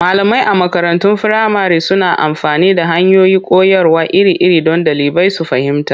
Malamai a makarantun firamare suna amfani da hanyoyin koyarwa iri-iri don ɗalibai su fahimta.